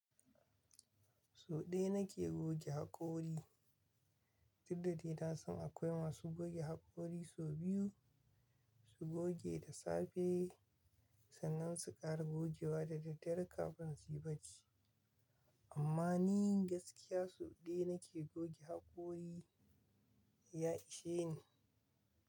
So ɗaya nake goge haƙori, duk da dai na san akwai masu goge haƙori sau biyu. Su goge da safe sannan su ƙara gogewa da daddare kafin su yi bacci. Amma ni gaskiya so ɗaya nake goge haƙori, ya ishe ni.